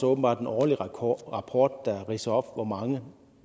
åbenbart en årlig rapport rapport der ridser op hvor mange